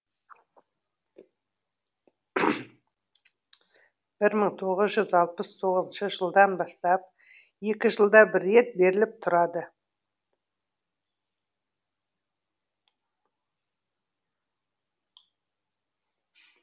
бір мың тоғыз жүз алпыс тоғызыншы жылдан бастап екі жылда бір рет беріліп тұрады